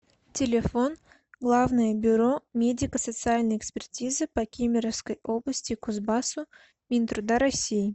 телефон главное бюро медико социальной экспертизы по кемеровской области кузбассу минтруда россии